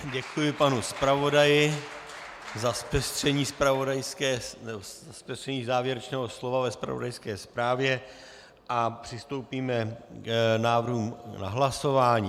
Děkuji panu zpravodaji za zpestření závěrečného slova ve zpravodajské zprávě a přistoupíme k návrhů na hlasování.